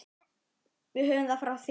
Við höfum það frá þér!